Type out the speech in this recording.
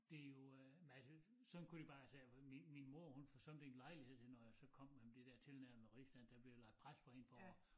Det jo øh men altså sådan kunne de bare altså min min mor hun forsømte ikke lejligheden når jeg så kom med det dér tilnærmede rigsdansk der blev lagt pres på en på at